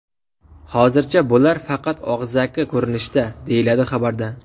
Hozircha bular faqat og‘zaki ko‘rinishda”, deyiladi xabarda.